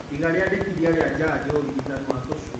Iga riandikithia rĩa njanjo, ũrigitani wa tũshui